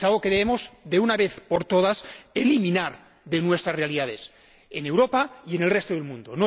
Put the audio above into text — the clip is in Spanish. es algo que debemos, de una vez por todas, eliminar de nuestras realidades, en Europa y en el resto del mundo.